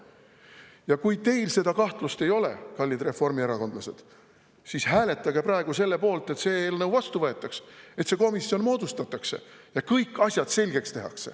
Ja kui teil seda kahtlust ei ole, kallid reformierakondlased, siis hääletage praegu selle poolt, et see eelnõu vastu võetaks, et see komisjon moodustataks ja kõik asjad selgeks tehtaks.